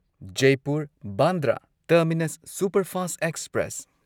Jaipur Bandra terminus superfast express